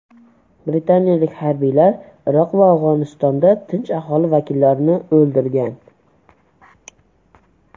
Britaniyalik harbiylar Iroq va Afg‘onistonda tinch aholi vakillarini o‘ldirgan .